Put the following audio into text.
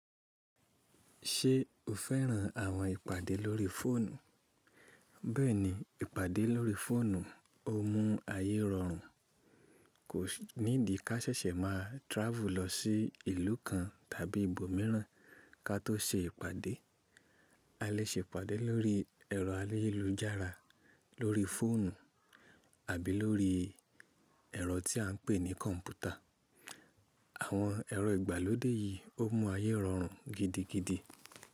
Ṣé o fẹ́ràn àwọn ìpàdé lórí fóònù? Bẹ́ẹ̀ni, ìpàdé lórí fóònù o mú ayé rọrùn. Kò ní dì ká ṣẹ̀ṣẹ̀ máa travel lọ sí ìlú kan tàbí ibo mìíràn ka tó se ìpàdé. A lè se ìpàdé lórí ẹ̀rọ ayélujára, lórí fóònù àbí lórí ẹ̀rọ tí à n pè ní kọ̀m̀pútà. Àwọn ẹ̀rọ ìgbàlódé yìí o mú ayé rọrùn gidigidi.